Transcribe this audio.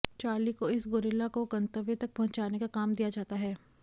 Charlie को इस gorilla को गंतव्य तक पहुंचाने का काम दिया जाता है